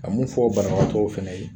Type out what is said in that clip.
A mun fɔ banabaatɔw fɛnɛ ye